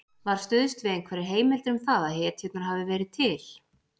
Var stuðst við einhverjar heimildir um það að hetjurnar hafi verið til?